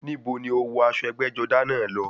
Níbo ni o wọ aṣọ ẹgbẹ́-jọdá náà lọ?